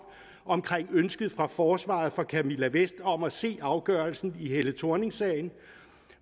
om ønsket fra forsvaret for camilla vest om at se afgørelsen i helle thorning sagen